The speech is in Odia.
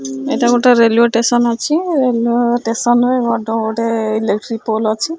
ଏଇଟା ଗୋଟେ ରେଲୱେ ଟେସନ ଅଛି ରେଲୱେ ଷ୍ଟେସନ ରେ ବଡ ଗୋଟେ ଇଲେକ୍ଟ୍ରୀ ପୋଲ୍ ଅଛି।